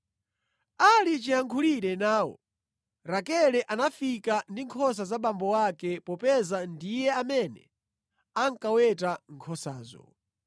Ali chiyankhulire nawo, Rakele anafika ndi nkhosa za abambo ake popeza ndiye amene ankaweta nkhosazo.